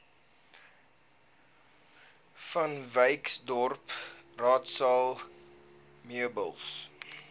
vanwyksdorp raadsaal meubels